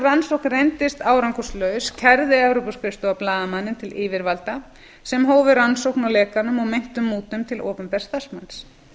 rannsókn reyndist árangurslaus kærði evrópuskrifstofan blaðamanninn til yfirvalda sem hófu rannsókn á lekanum og meintum mútum til opinbers starfsmanns